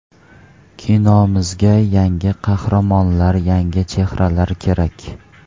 Kinomizga yangi qahramonlar, yangi chehralar kerak.